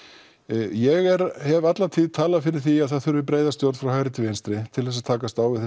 ég hef alla tíð talað fyrir því að það þurfi breiðari stjórn frá hægri til vinstri til að takast á við